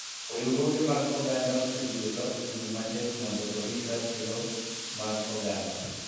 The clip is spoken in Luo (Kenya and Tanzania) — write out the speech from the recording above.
Riwruoge mag oganda osebedo ka ochung� matek mondo orit ratiro mag dhano.